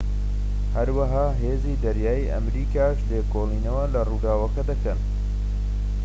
هەروەها هێزی دەریایی ئەمریکاش لێکۆڵینەوە لە ڕووداوەکە دەکەن